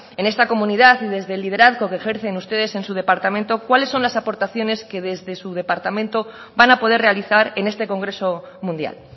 en esta comunidad y desde el liderazgo que ejercen ustedes en su departamento cuáles son las aportaciones que desde su departamento van a poder realizar en este congreso mundial